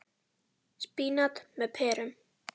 Spínat með perum